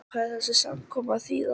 Hvað á þessi samkoma að þýða.